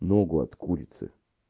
ногу от курицы